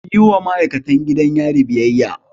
Kuyi wa ma'aikatan gidan yari biyayya!